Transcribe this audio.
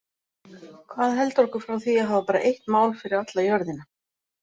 Hvað heldur okkur frá því að hafa bara eitt mál fyrir alla jörðina?